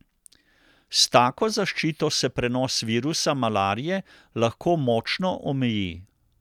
S tako zaščito se prenos virusa malarije lahko močno omeji.